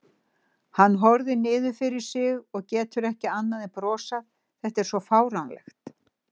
Hann horfir niður fyrir sig og getur ekki annað en brosað, þetta er svo fáránlegt.